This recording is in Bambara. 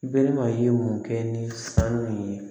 Bɛlɛma ye mun kɛ ni sanu ye